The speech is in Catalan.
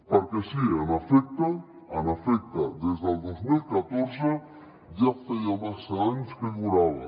perquè sí en efecte des del dos mil catorze ja feia massa anys que durava